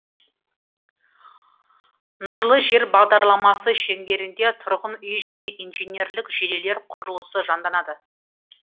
нұрлы жер бағдарламасы шеңберінде тұрғын үй және инженерлік желілер құрылысы жанданады